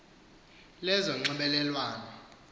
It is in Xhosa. lezonxibelelwano